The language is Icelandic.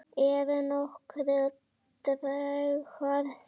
Eru nokkrir draugar þarna?